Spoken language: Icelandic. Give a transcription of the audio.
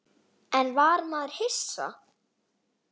En var maður hissa?